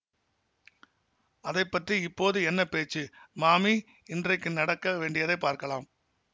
அதை பற்றி இப்போது என்ன பேச்சு மாமி இன்றைக்கு நடக்க வேண்டியதை பார்க்கலாம்